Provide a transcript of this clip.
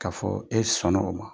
K'a fɔ e sɔn na o ma.